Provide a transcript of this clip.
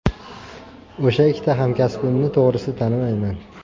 O‘sha ikkita hamkasbimni to‘g‘risi tanimayman.